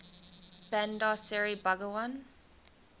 bandar seri begawan